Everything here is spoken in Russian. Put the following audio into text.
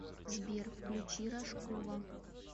сбер включи рожкова